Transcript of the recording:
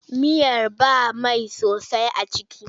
Miyar ba mai sosai a ciki.